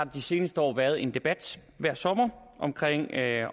de seneste år været en debat hver sommer